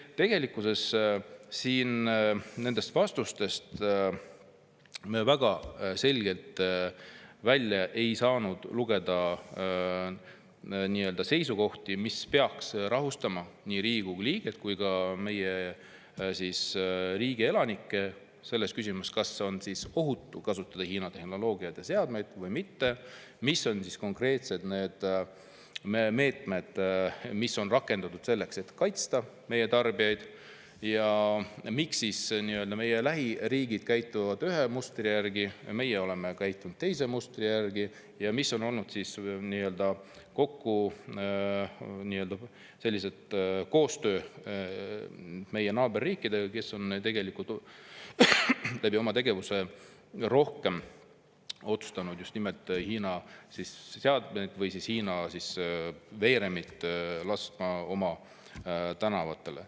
Nii et tegelikkuses me ei saanud nendest vastustest väga selgelt välja lugeda seisukohti, mis peaks rahustama nii Riigikogu liiget kui ka meie riigi elanikke nendes küsimustes, kas on ohutu kasutada Hiina tehnoloogiat ja seadmeid või mitte; mis on konkreetselt need meetmed, mida on rakendatud selleks, et kaitsta meie tarbijaid; ja miks meie lähiriigid käituvad ühe mustri järgi, aga meie oleme käitunud teise mustri järgi; ning missugune on olnud koostöö meie naaberriikidega, kes on otsustanud oma tegevuses kasutada rohkem just nimelt Hiina seadmeid või lasknud Hiina veeremeid oma tänavatele.